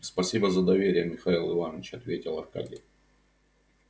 спасибо за доверие михаил иванович ответил аркадий